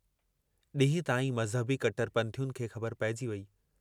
डींहं ताईं मज़हबी कट्टरपंथियुनि खे ख़बर पइजी वेई।